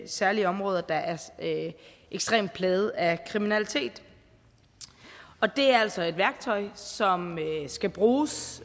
særlige områder der er ekstremt plaget af kriminalitet og det er altså et værktøj som skal bruges